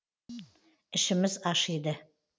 ішіміз ашиды